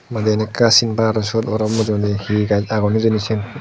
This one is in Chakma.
madi gan ekka sin par sut aro mujungedi he gaj agon hijeni siyen.